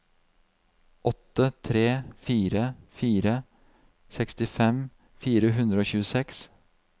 åtte tre fire fire sekstifem fire hundre og tjueseks